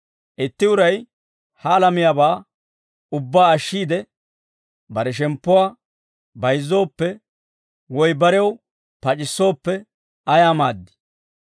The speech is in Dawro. Itti uray ha alamiyaabaa ubbaa ashshiide bare shemppuwaa bayizzooppe woy barew pac'issooppe, ayaa maaddii?